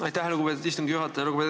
Aitäh, lugupeetud istungi juhataja!